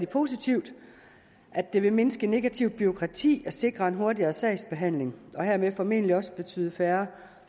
positivt at det vil mindske det negative bureaukrati og sikre en hurtigere sagsbehandling og hermed formentlig også betyde færre